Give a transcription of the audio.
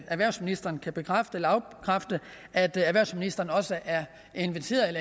erhvervsministeren kan bekræfte eller afkræfte at erhvervsministeren også er